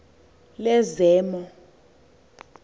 lezemo